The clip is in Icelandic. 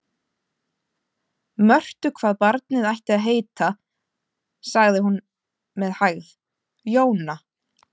Mörtu hvað barnið ætti að heita, svaraði hún með hægð: Jóna.